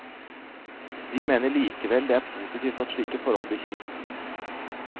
De mener likevel det er positivt at slike forhold blir kjent.